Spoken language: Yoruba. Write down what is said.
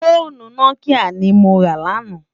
Fónú Nòkiyá ni mó rá làná